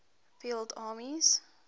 field armies